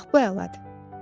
Bax, bu əladır.